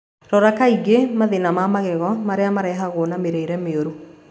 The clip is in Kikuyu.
Rora kaingĩ mathĩna ma magego marĩa marehagwo na mĩrĩre mĩoru